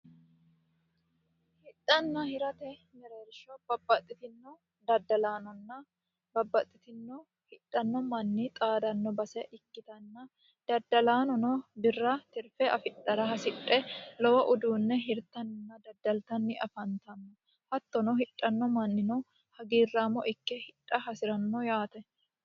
hidhanna hirate mereersho babpaxxitinno daddalaanonna babbaxxitinno hidhanno manni xaadanno base ikkitanna daddalaanono birra tirfe afidhara hasidhe lowo uduunne hirtanna daddaltanni afantanno hattono hidhanno mannino hagiirraamo ikke hidha hasi'ranno yaate